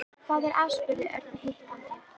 Hvað er að? spurði Örn hikandi.